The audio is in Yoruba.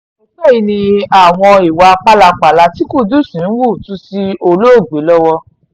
àìpẹ́ yìí ni awò ìwà pálapàla tí kudiz ń hù tú sí olóògbé lọ́wọ́